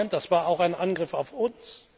Das war auch ein Angriff auf uns.